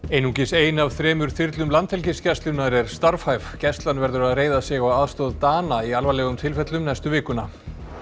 einungis ein af þremur þyrlum Landhelgisgæslunnar er starfhæf gæslan verður að reiða sig á aðstoð Dana í alvarlegum tilfellum næstu vikuna